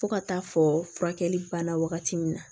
Fo ka taa fɔ furakɛli banna wagati min na